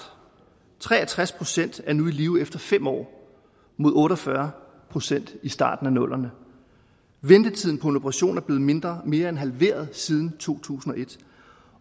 tre og tres procent er nu i live efter fem år mod otte og fyrre procent i starten af nullerne ventetiden på en operation er blevet mindre mere end halveret siden to tusind og et